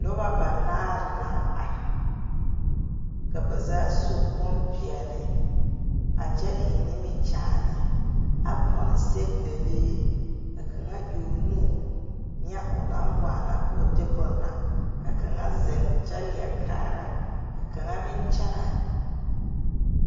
Noba banaare naŋ are ka ba zaa su bonpeɛlle a kyɛ eŋ nimikyaane a pɔnne sɛgedalee ka kaŋa e o nu a ŋa o naŋ waana ka o de bonne na ka kaŋa ziŋ kyɛ leɛ kaara ka kaŋa meŋ kyɛnɛ.